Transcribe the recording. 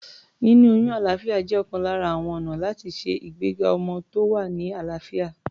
Níní oyún alàáfíà jẹ́ ọ̀kan lára àwọn ọ̀nà láti ṣe ìgbéga ọmọ tó wà ní àlàáfíà.